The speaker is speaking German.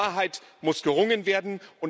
Um Wahrheit muss gerungen werden.